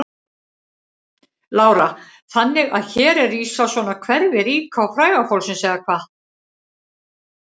Lára: Þannig að hér er rísa svona hverfi ríka og fræga fólksins eða hvað?